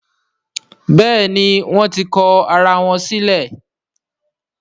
Béèni wón tí kò àrà wón sílè.